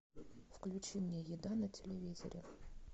включи мне еда на телевизоре